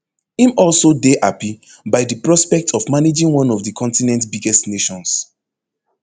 im also dey happy by di prospect of managing one of di continent biggest nations